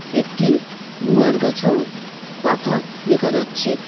একটি গুয়ার গাছও পাতা দেখা যাচ্ছে।